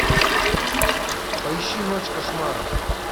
поищи ночь кошмаров